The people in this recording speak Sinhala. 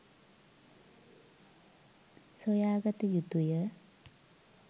සොයාගත යුතුය.